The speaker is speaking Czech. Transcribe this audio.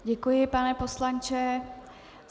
Děkuji, pane poslanče.